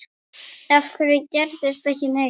Af hverju gerist ekki neitt?